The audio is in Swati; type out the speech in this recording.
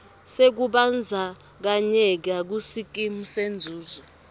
sekubandzakanyeka kusikimu senzuzo